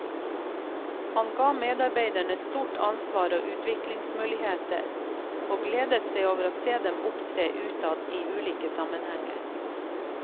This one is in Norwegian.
Han ga medarbeiderne stort ansvar og utviklingsmuligheter, og gledet seg over å se dem opptre utad i ulike sammenhenger.